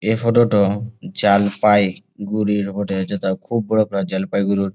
এ photo -টো জাল-পাই-গুড়ির বটে যেটা খুব বড়ো জলপাইগুড়ির--